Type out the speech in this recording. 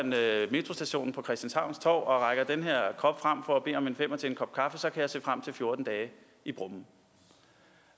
metrostationen på christianshavns torv og rækker den her kop frem for at bede om en femmer til en kop kaffe så kan jeg se frem til fjorten dage i brummen